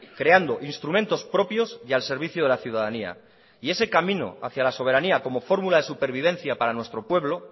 creando instrumentos propios y al servicio de la ciudadanía y ese camino hacia la soberanía como fórmula de supervivencia para nuestro pueblo